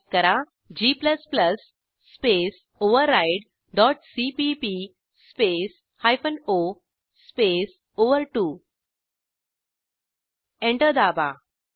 type करा g space override dot CPP space hyphen O space ओव्हर2 enter दाबा